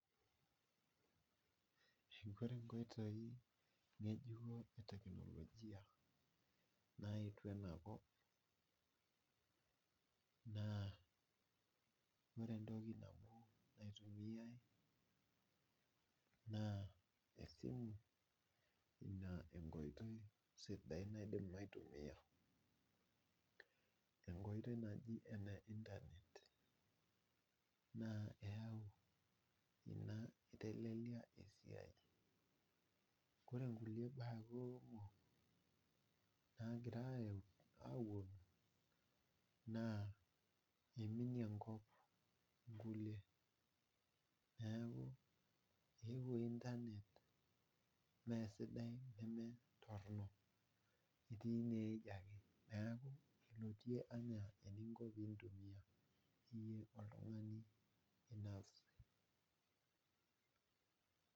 Ore nkoitoi ng'ejuko eteknolojia naetuo ena kop naa ,ore entoki nabo naitumiyai naa ina enkoitoi sidai naaidimi aitumiyia .enkoitoi nejia ene internet naa eyau ina eitelelia esiai ,ore nkulie baa kumok nagira ayau naa eiminie enkop nkulie neeku eeuo internet mesidai nemetoronok etii ine weji ake ,neeku ilotie enaa eninko pee intumiya iyie oltungani openy.